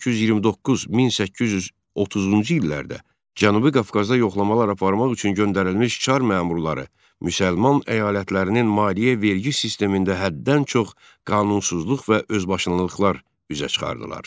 1829-1830-cu illərdə Cənubi Qafqaza yoxlamalar aparmaq üçün göndərilmiş çar məmurları müsəlman əyalətlərinin maliyyə vergi sistemində həddən çox qanunsuzluq və özbaşınalıqlar üzə çıxardılar.